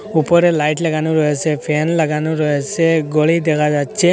উপরে লাইট লাগানো রয়েসে ফ্যান লাগানো রয়েসে ঘড়ি দেখা যাচ্ছে।